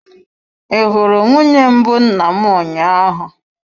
Ị hụrụ nwunye mbụ nna m ụnyaahụ?